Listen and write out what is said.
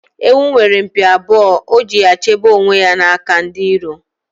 Ewu nwere mpi abụọ, o ji ya chebe onwe ya n'aka ndi iro